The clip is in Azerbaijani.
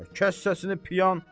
Kəs səsini, piyan!